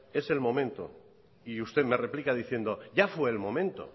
es el momento y usted me replica diciendo ya fue el momento